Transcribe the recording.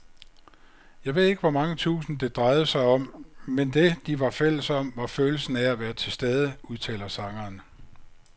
Jeg ved ikke hvor mange tusind, det drejede sig om, men det, de var fælles om, var følelsen af at være tilstede, udtaler sangeren.